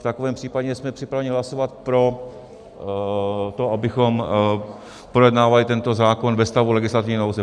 V takovém případě jsme připraveni hlasovat pro to, abychom projednávali tento zákona ve stavu legislativní nouze.